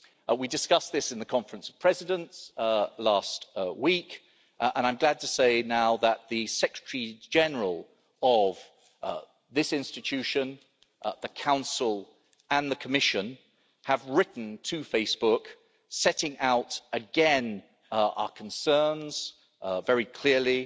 We discussed this in the Conference of Presidents last week and I'm glad to say now that the Secretary General of this institution, the Council and the Commission have written to Facebook setting out again our concerns very clearly